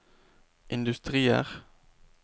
industrier